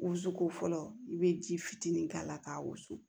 Wusuko fɔlɔ i bɛ ji fitinin k'a la k'a wusu